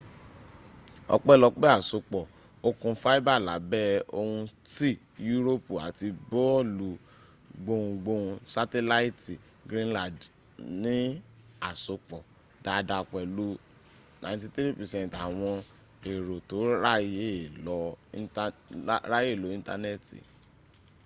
ọpẹlopé àsopọ̀ okùn fibre lábẹ́ òkun tsi yuropi ati boolu gbohungbohun satelaiti greenland ní àsopọ̀ dada pẹ̀lú 93% àwọn èrò tó ráyè lo íńtánẹ̀ẹ̀tì